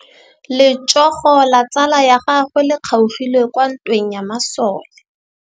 Letsôgô la tsala ya gagwe le kgaogile kwa ntweng ya masole.